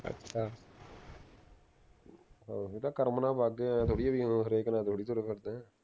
ਅੱਛਾ ਇਹ ਤਾਂ ਕਰਮ ਨਾਲ ਵੱਗ ਗਿਆ ਆਏਂ ਥੋੜੀ ਹੈ ਵੀ ਹਰੇਕ ਨਾਲ ਤੁਰੇ ਫਿਰਦੇ ਹੈਂ